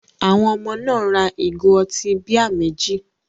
Àwọn ọmọ náà ra ìgò ọtí bíà méjì.